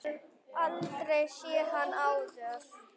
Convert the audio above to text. Hefur aldrei séð hann áður.